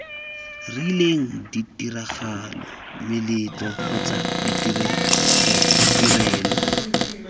rileng ditiragalo meletlo kgotsa ditirelo